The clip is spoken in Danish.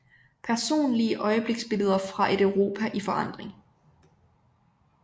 Personlige øjebliksbilleder fra et Europa i forandring